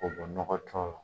K'o bɔ nɔgɔ tɔ la.